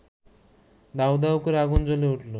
দাউদাউ করে আগুন জ্বলে উঠল